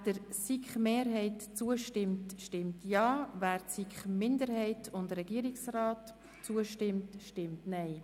Wer dem Antrag der SiK-Mehrheit zustimmt, stimmt Ja, wer den Antrag der SiK-Minderheit und des Regierungsrates unterstützt, stimmt Nein.